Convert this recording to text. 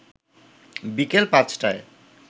বিকেল ৫টায়